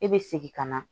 E be segin ka na